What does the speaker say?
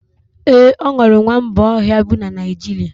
Ee, enwere nwamba ọhịa bi na Naịjirịa